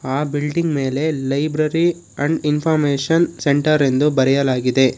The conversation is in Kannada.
ಆ ಬಿಲ್ಡಿಂಗ್ ಮೇಲೆ ಲೈಬ್ರರಿ ಅಂಡ್ ಇನ್ಫಾರ್ಮಶನ್ ಸೆಂಟರ್ ಎಂದು ಬರೆಯಲಾಗಿದೆ.